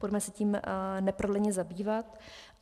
Pojďme se tím neprodleně zabývat.